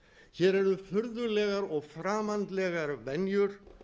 hér eru furðulegar og framandlegar venjur